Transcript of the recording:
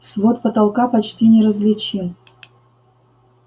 свод потолка почти неразличим